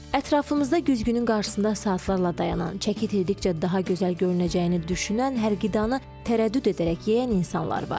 Ətrafımızda güzgünün qarşısında saatlarla dayanan, çəki itirdikcə daha gözəl görünəcəyini düşünən, hər qidanı tərəddüd edərək yeyən insanlar var.